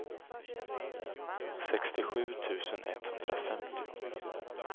sextiosju tusen etthundrafemtio